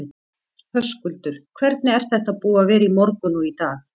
Höskuldur: Hvernig er þetta búið að vera í morgun og í dag?